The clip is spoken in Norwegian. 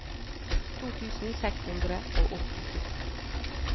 to tusen seks hundre og åttito